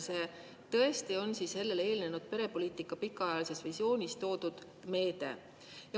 See tõesti on sellele eelnenud perepoliitika pikaajalises visioonis toodud meede.